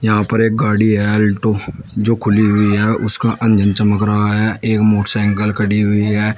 यहां पर एक गाड़ी है आल्टो जो खुली हुई है उसका अंजन चमक रहा है एक मोटसाइंकल खड़ी हुई है।